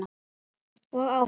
Og áfram.